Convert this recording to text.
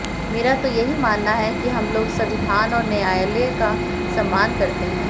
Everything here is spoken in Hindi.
मेरा तो यही मानना है कि हम लोग संविधान और न्यायालय का सम्मान करते हैं